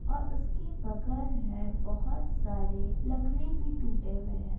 और उसकी बगर है। बोहोत सारे लकड़ी भी टूटे हुए हैं।